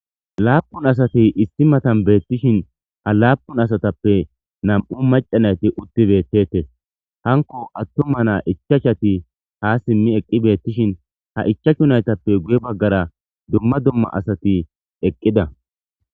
Laapun asati isti matan beettishin ha laapun asatappe nam'u macanayti utti beettete hanko attuma naa ichachati ha simmi eqqi beettishin ha ichashunaytappe guye baggara dumma dumma asati eqqida.